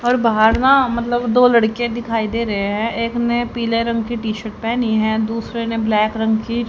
और बाहर ना मतलब दो लड़के दिखाई दे रहे है एक ने पीले रंग की टी शर्ट पेहनी है दूसरे ने ब्लैक रंग की--